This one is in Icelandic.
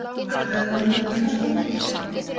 Ætlaði hún að kynnast honum?